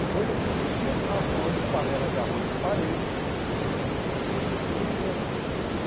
É coisa de um dia estar voando panela de arroz na parede e no outro dia estar todo mundo se lambendo.